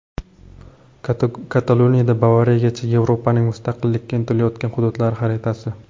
Kataloniyadan Bavariyagacha: Yevropaning mustaqillikka intilayotgan hududlari xaritasi.